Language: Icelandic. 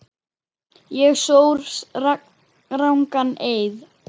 Ég sór rangan eið.